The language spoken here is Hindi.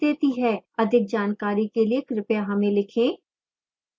अधिक जानकारी के लिए कृपया हमें लिखें